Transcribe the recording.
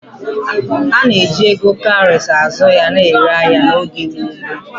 A na-eji ego kaurị azụ ya na-ere ahịa n’oge mgbe gboo.